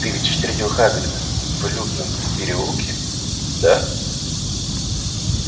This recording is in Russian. ты ведь встретил хагрида в лютном переулке да